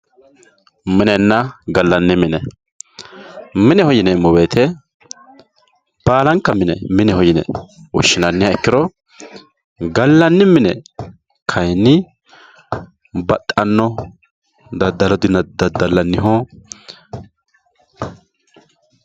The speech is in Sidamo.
Minenena galani mine galani mine yineemohu baalanka mine mineho yine woshinaniha ikiro galani mine kayini baxxano dadalaniho.